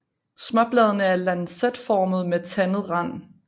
Småbladene er lancetformede med tandet rand